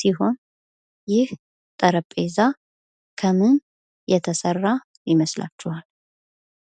ሲሆን ይህ ጠረጴዛ ከምን የተሰራ ይመስላችኋል?